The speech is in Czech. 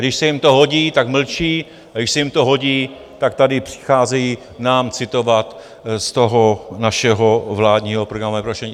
Když se jim to hodí, tak mlčí, a když se jim to hodí, tak tady přicházejí nám citovat z toho našeho vládního programového prohlášení.